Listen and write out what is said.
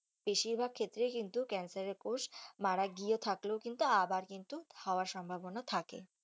বেশির ভাগ ক্ষেত্রে কিন্তু ক্যান্সার এর কোষ মারা গিয়েও থাকলেও আবার কিন্তু সম্ভবনা থাকে।